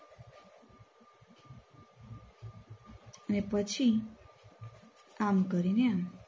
અને પછી આમ કરીને આમ